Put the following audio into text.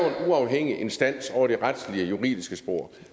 uafhængig instans over det retslige og juridiske spor